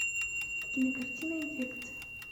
кинокартина инфекция